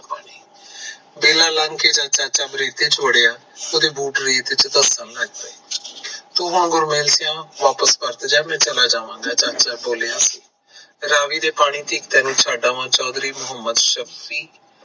ਬੇਲਾ ਲੰਘ ਕੇ ਜਦ ਚਾਚਾ ਰੇਤੇ ਚ ਵੜਿਆ ਉਸ ਦੇ ਬੂਟ ਰੇਤ ਚ ਧਸਣ ਲੱਗ ਪਾਏ, ਤੂੰ ਹੁਣ ਗੁਰਮੇਲ ਸੇਯੋ ਵਾਪਸ ਪਰਤ ਜਾ, ਚਾਚਾ ਬੋਲਿਆ ਰਾਵੀ ਦੇ ਪਾਣੀ ਤਕ ਤੈਨੂੰ ਛੱਡ ਆਵਾ ਚੌਧਰੀ ਮੋਹੰਮਦ ਸ਼ਫ਼